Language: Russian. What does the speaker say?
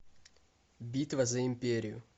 битва за империю